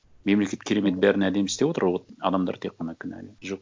мемлекет керемет бәрін әдемі істеп отыр вот адамдар тек қана кінәлі жоқ